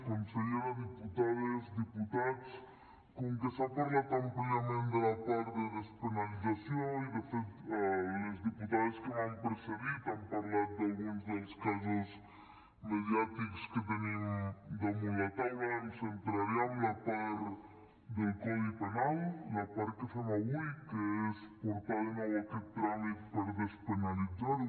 consellera diputades diputats com que s’ha parlat àmpliament de la part de despenalització i de fet les diputades que m’han precedit han parlat d’alguns dels casos mediàtics que tenim damunt la taula em centraré en la part del codi penal la part que fem avui que és portar de nou aquest tràmit per despenalitzar ho